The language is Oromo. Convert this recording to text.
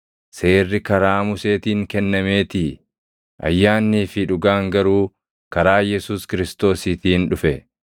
Seerri karaa Museetiin kennameetii; ayyaannii fi dhugaan garuu karaa Yesuus Kiristoosiitiin dhufe.